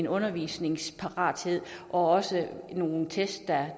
undervisningsparathed og også nogle test der